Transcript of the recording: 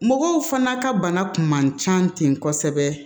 Mɔgɔw fana ka bana kun man ca ten kosɛbɛ